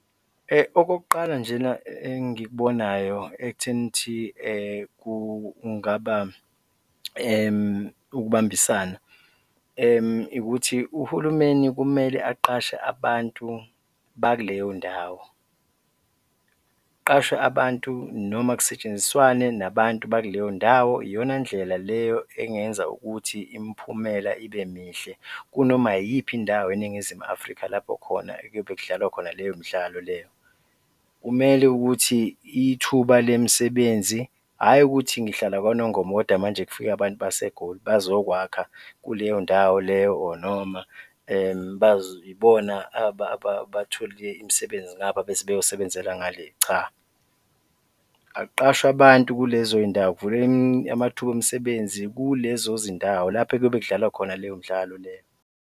Okokuqala nje na engikubonayo ekutheni ukuthi kungaba ukubambisana, ukuthi uhulumeni kumele aqashe abantu bakuleyo ndawo, kuqashwe abantu noma kusetshenziswane nabantu bakuleyo ndawo, iyona ndlela leyo engenza ukuthi imiphumela ibe mihle kunoma iyiphi indawo eNingizimu Afrika lapho khona okuyobe kudlalwa khona leyo midlalo leyo. Kumele ukuthi ithuba le misebenzi, hhayi ukuthi ngihlala kwaNongoma kodwa manje kufike abantu baseGoli bazowakha kuleyo ndawo leyo or noma bazibona bathole imisebenzi ngapha bese beyosebenzela ngale, cha, akuqashwe abantu kulezo zindawo kuvulwe amathuba omsebenzi kulezo zindawo lapho ekuyobe kudlalwa khona leyo mdlalo leyo.